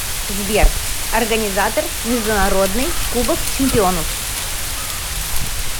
сбер организатор международный кубок чемпионов